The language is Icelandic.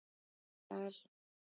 Mikael